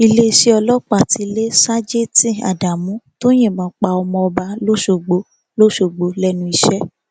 iléeṣẹ ọlọpàá ti lé ṣàjètì ádámù tó yìnbọn pa ọmọọba lọsọgbò lọsọgbò lẹnu iṣẹ